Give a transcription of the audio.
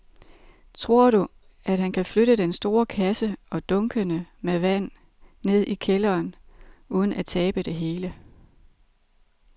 Tror du, at han kan flytte den store kasse og dunkene med vand ned i kælderen uden at tabe det hele?